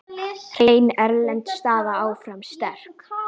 Hrein erlend staða áfram sterk.